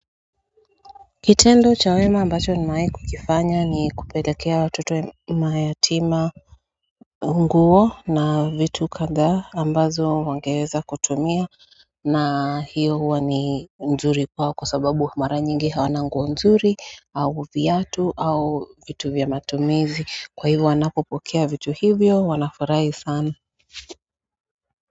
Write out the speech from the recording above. Kitendo cha wema ambacho nimewai kukifanya ni kupelekea watoto mayatima nguo na vitu kadhaa ambazo wangeweza kutumia na hiyo huwa ni nzuri kwao kwa sababu mara nyingi hawana nguo nzuri au viatu au vitu vya matumizi kwa hivo wanapopokea vitu hivyo wanafurahi sana.